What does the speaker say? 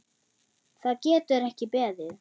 Það getur ekki beðið.